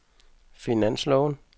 finansloven